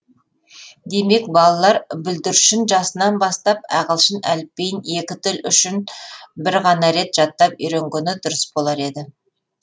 демек балалар бүлдіршін жасынан бастап ағылшын әліпбиін екі тіл үшін бір ғана рет жаттап үйренгені дұрыс болар еді